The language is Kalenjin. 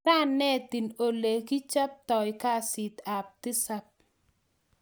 Sa netin ole ki chabaitoi kasit ab tisap